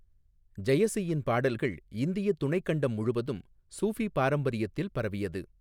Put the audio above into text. ஜெயசியின் பாடல்கள் இந்திய துணைக்கண்டம் முழுவதும் சூஃபி பாரம்பரியத்தில் பரவியது.